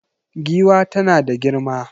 Giwa tana da girma.